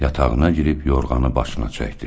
Yatağına girib yorğanı başına çəkdi.